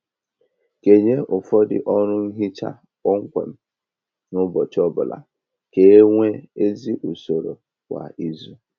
Kenye ụfọdụ ọrụ nhicha kpọmkwem n'ụbọchị ọbụla ka e nwee ezi usoro kwa izu